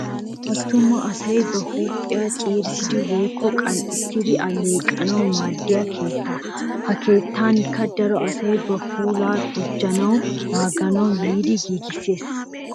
Attuma asay ba huuphiya ciirissidi woyikko qanxxissidi alleeqanawu maaddiya keettaa. Ha keettankka daro asay ba puulaa gujjanawunne naaganawu yiiddi giigisses.